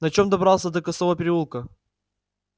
на чем добрался до косого переулка